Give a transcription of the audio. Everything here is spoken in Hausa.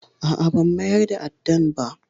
A'a, ban mayar da addan ba.